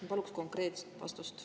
Ma paluksin konkreetset vastust.